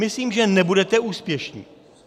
Myslím, že nebudete úspěšní.